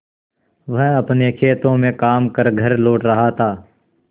वह अपने खेतों में काम कर घर लौट रहा था